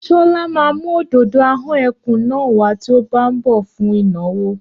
Ṣọlá mùú òdòdó ahón ẹkùn náà wá tí o bá nbọ fún ìnáwó